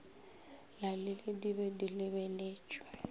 lalile di be di lebetšwe